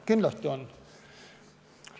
Kindlasti on.